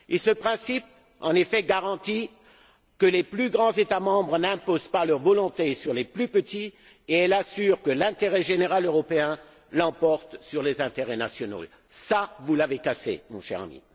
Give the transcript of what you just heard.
Ce principe, en effet, garantit que les plus grands États membres n'imposent pas leur volonté aux plus petits. Il assure que l'intérêt général européen l'emporte sur les intérêts nationaux. Cela, vous l'avez cassé, mon cher ami.